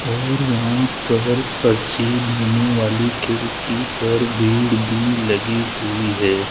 और वहां पर पर्ची देने वाली खिड़की पर भीड़ भी लगी हुई है।